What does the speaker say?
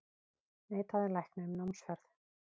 Neitaði lækni um námsferð